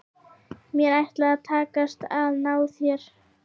Mér ætlar að takast að ná þér.